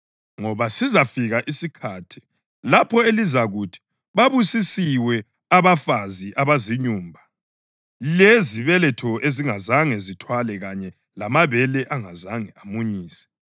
Ngoba sizafika isikhathi lapho elizakuthi, ‘Babusisiwe abafazi abazinyumba, lezibeletho ezingazange zithwale kanye lamabele angazange amunyise!’